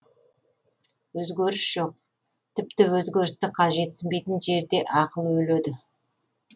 өзгеріс жоқ тіпті өзгерісті қажетсінбейтін жерде ақыл өледі